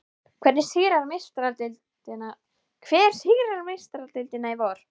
Hver sigrar Meistaradeildina í vor?